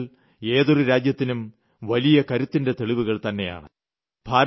ഇക്കാര്യങ്ങൾ ഏതൊരു രാജ്യത്തിനും വലിയ കരുത്തിന്റെ തെളിവുകൾ തന്നെയാണ്